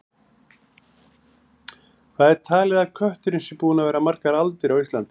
Hvað er talið að kötturinn sé búinn að vera margar aldir á Íslandi?